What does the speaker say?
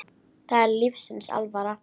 Það er lífsins alvara.